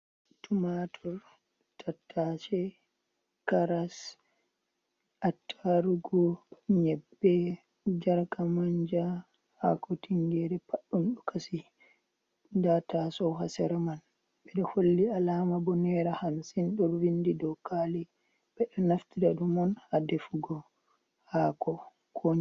Tumator, Tattashe, Karas, Attarugo, Nyebbe, jarka manja Hako tingere pat ɗum ɗo kasi nda ta sou ha sere man ɓe ɗo holli alama bo nera hamsin ɗo vindi dow kali ɓe ɗo naftira ɗum on ha defugo hako.